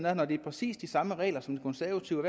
er når det er præcis de samme regler som den konservative